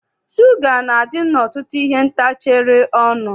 Shuga na-adị n'ọtụtụ ihe ntacharị ọnụ.